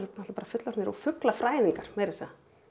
bara fullorðnir og fuglafræðingar meira að segja